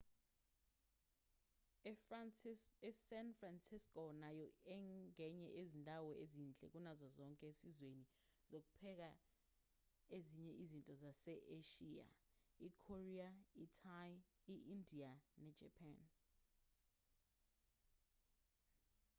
esan francisco nayo ingenye yezindawo ezinhle kunazo zonke esizweni sokupheka ezinye izinto zase-eshiya ikorea ithai indiya nejapan